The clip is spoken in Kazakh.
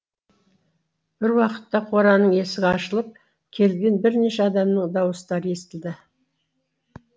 бір уақытта қораның есігі ашылып келген бірнеше адамның дауыстары естілді